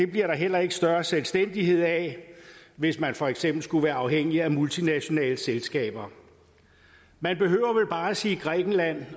bliver der heller ikke større selvstændighed af hvis man for eksempel skal være afhængig af multinationale selskaber man behøver vel bare sige grækenland